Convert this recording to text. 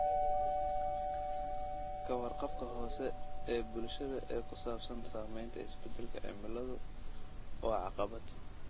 Ka warqabka hoose ee bulshada ee ku saabsan saamaynta isbedelka cimiladu waa caqabad.